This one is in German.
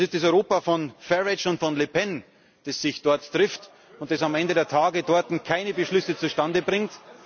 Es ist das Europa von Farage und von Le Pen, das sich dort trifft und das am Ende des Tages dort keine Beschlüsse zustande bringt.